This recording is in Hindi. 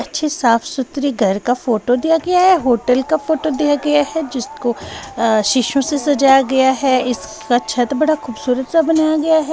अच्छे साफ-सुथरी घर का फोटो दिया गया है होटल का फोटो दिया गया है जिसको अ शीशों से सजाया गया है इसका छत बड़ा खूबसूरत सा बनाया गया है।